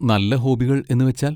നല്ല ഹോബികൾ എന്നുവെച്ചാൽ?